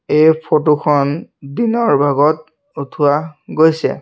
এই ফটো খন দিনৰ ভাগত উঠোৱা গৈছে।